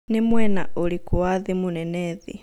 nĩ mwena ũrikũ wa thĩ mũnene thĩ